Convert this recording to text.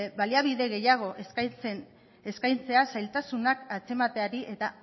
baliabide gehiago eskaintzea zailtasunak antzemateari eta